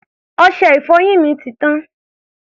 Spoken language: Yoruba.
Ọṣẹ-ìfọyín mi ti tán.